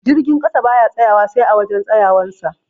Jirgin ƙasa baya tsayawa sai a wajan tsayawan sa